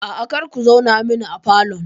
Aa, kar ku zauna min a falon